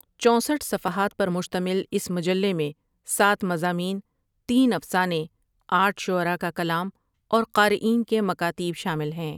چونسٹھ صفحات پر مشتمل اس مجلے میں سات مضامین، تین افسانے، آٹھ شعرا کا کلام اور قارئین کے مکاتیب شامل ہیں ۔